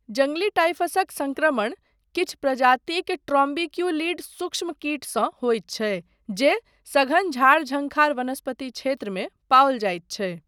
जङ्गली टाइफसक सङ्क्रमण किछु प्रजातिक ट्रॉम्बिक्युलिड सूक्ष्म कीटसँ होइत छै जे सघन झाड़ झंखार वनस्पति क्षेत्रमे पाओल जाइत छै।